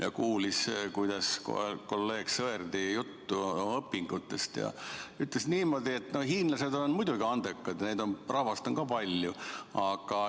Ta kuulis kolleeg Sõerdi juttu õpingutest ja ütles niimoodi, et hiinlased on muidugi andekad ja neid on palju.